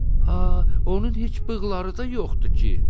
A, onun heç bığları da yoxdur ki.”